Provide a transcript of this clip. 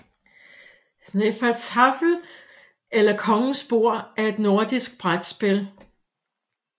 Hnefatafl eller Kongens bord er et nordisk brætspil